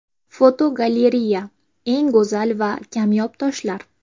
Fotogalereya: Eng go‘zal va kamyob toshlar.